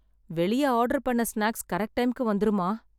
வெளியே ஆர்டர் பண்ண snacks correct டைம்க்கு வந்துருமா?